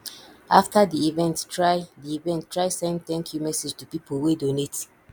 after di event try di event try send thank you message to pipo wey donate